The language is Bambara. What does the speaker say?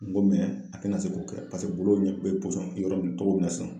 N go a kana se k'o kɛ paseke bolo ɲɛ bɛ yɔrɔ min togo min na sisan.